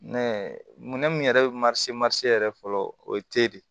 Minɛn mun yɛrɛ bɛ yɛrɛ fɔlɔ o ye te de ye